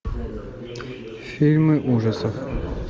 фильмы ужасов